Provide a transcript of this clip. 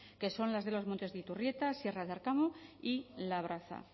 que son las de los montes de iturrieta sierra de arkamo y labraza